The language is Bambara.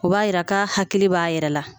O b'a yira k'a hakili b'a yɛrɛ la